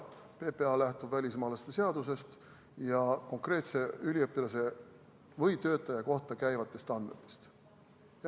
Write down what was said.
PPA lähtub välismaalaste seadusest ja konkreetse üliõpilase või töötaja kohta käivatest andmetest.